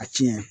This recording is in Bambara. A tiɲɛ